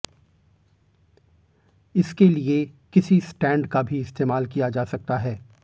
इसके लिए किसी स्टैंड का भी इस्तेमाल किया जा सकता है